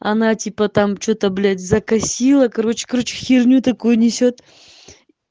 она типа там что-то блять закосила короче короче херню такую несёт